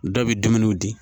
Dɔ bɛ dumuniw di